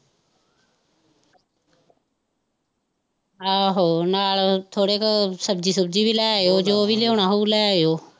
ਆਹੋ ਨਾਲ ਥੋੜੇ ਕ ਸਬਜ਼ੀ ਸੁਬਜ਼ੀ ਵੀ ਲੈ ਆਇਉ ਜੋ ਵੀ ਲਿਆਉਣਾ ਹੋਓ ਲੈ ਆਈਓ।